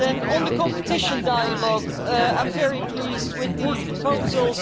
On the competition dialogue, I am very pleased with the proposals.